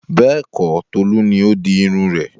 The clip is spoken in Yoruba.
Bẹ́ẹ̀kọ̀, Tolu ni ó di irun rẹ̀.